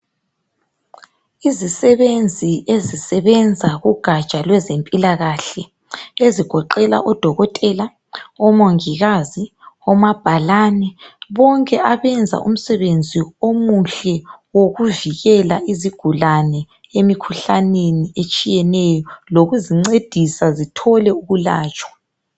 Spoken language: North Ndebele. Izisebenzi ezisebenza kugatsha lwezempilakahle ezigoqela odokotela, omongikazi, omabhalani, bonke abenza umsebenzi omuhle wokuvikela izigulane emikhuhlaneni etshiyeneyo lokuzincedisa zithole ukulatshwa.